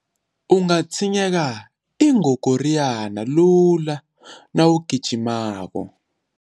Ungatshinyeka ingogoriyana lula nawugijimako.